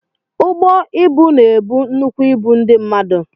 Ụgbọ ịbụ na ebu nnukwu ịbụ ndị mmadụ.